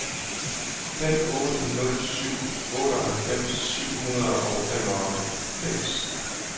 fem otte nul syv otteoghalvfems syv hundrede og femoghalvfems